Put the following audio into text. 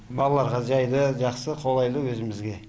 балаларға жайлы жақсы қолайлы өзімізге